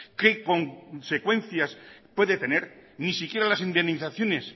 qué consecuencias puede tener ni siquiera las indemnizaciones